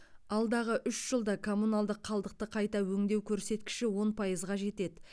алдағы үш жылда коммуналдық қалдықты қайта өңдеу көрсеткіші он пайызға жетеді